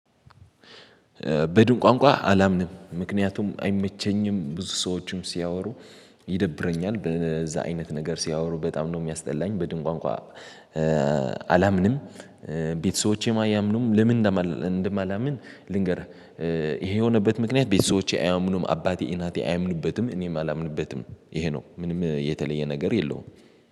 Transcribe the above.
በድን ቋንቋ አላምንም፤ ምክንያቱም አይመቸኝም ብዙ ሰዎችም ሲያወሩ ይደብረኛል፤ በዛ አይነት ነገር ሲያወሩ በጣም ነው የሚያስጠላኝ። በድን ቋንቋ አላምንም ቤተሰቦቼም አያምኑም ለምን እንደማላ እንደማላምን ልንገርህ፤ ይሄ የሆነበት ምክንያት ቤተሰቦቼ አያምኑም አባቴ፣ እናቴ አያምኑበትም እኔም አላምንበትም ይሄ ነው። ምንም የተለየ ነገር የለውም።